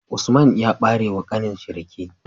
Usman ya bare wa kanin shi rake